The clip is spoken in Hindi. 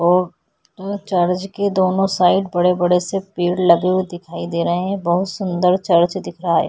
ओ ओ चर्च के दोनों साइड बड़े-बड़े से पेड़ लगे हुए दिखाई दे रहे हैं बोहोत सुन्दर सा चर्च दिख रहा हैं।